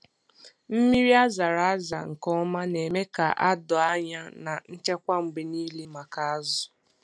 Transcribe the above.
Mmiri a zara aza nke ọma na-eme ka a doo anya na nchekwa mgbe niile maka azụ.